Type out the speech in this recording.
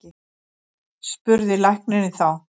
spurði læknirinn þá.